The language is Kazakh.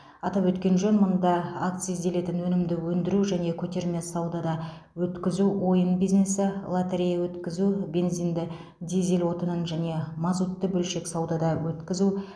атап өткен жөн мұнда акцизделетін өнімді өндіру және көтерме саудада өткізу ойын бизнесі лотерея өткізу бензинді дизель отынын және мазутты бөлшек саудада өткізу